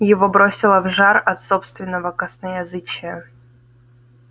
его бросило в жар от собственного косноязычия